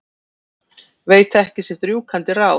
Veit ekki sitt rjúkandi ráð.